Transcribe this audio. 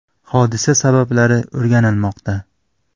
Hodisa sababi o‘rganilmoqda.